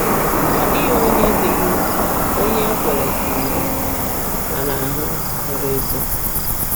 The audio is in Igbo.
Ọ dịghị onye dịghị onye e kwere ka iri mana ahụ zoro ezo.